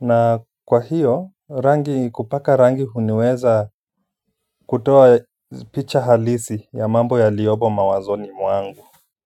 Na kwa hiyo, rangi kupaka rangi huniweza kutoa picha halisi ya mambo yaliyopo mawazoni mwangu.